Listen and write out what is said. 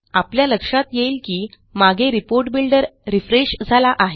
आपल्या लक्षात येईल की मागे रिपोर्ट बिल्डर रिफ्रेश झाला आहे